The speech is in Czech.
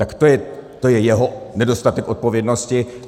Tak to je jeho nedostatek odpovědnosti.